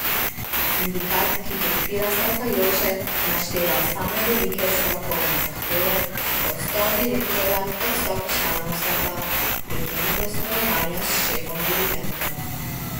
Sindikat, ki podpira stavkajoče, našteva same velike stavkovne zahteve, odstop direktorja, odstop članov sveta, prekinitev sodelovanja s šefom dirigentom.